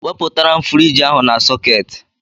Wepụtara m furige ahụ n' sôôketi!!!!